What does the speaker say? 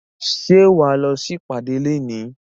Ṣé wà á lọ sí ìpàdé léèní?